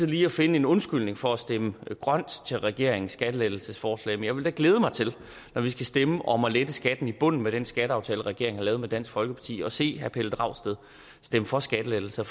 lige at finde en undskyldning for ikke at stemme grønt til regeringens skattelettelsesforslag men jeg vil da glæde mig til når vi skal stemme om at lette skatten i bunden med den skatteaftale regeringen har lavet med dansk folkeparti at se herre pelle dragsted stemme for skattelettelser